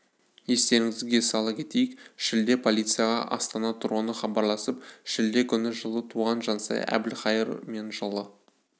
естеріңізге сала кетейік шілде полицияға астана тұрғыны хабарласып шілде күні жылы туған жансая әбілхайыр мен жылы